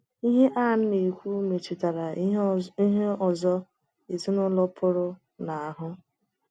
Ihe Ann na - ekwu metụtara ihe ọzọ ezinụlọ pụrụ n'ahụ